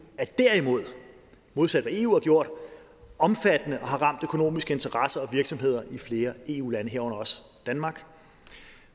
er derimod modsat hvad eu har gjort omfattende og har ramt økonomiske interesser og virksomheder i flere eu lande herunder danmark